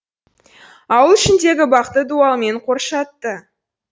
ауыл ішіндегі бақты дуалмен қоршатты